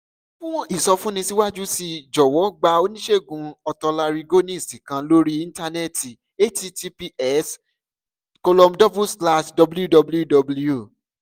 fún ìsọfúnni síwájú sí i jọ̀wọ́ gba oníṣègùn otolaryngologist kan lórí íńtánẹ́ẹ̀tì https colom double slash www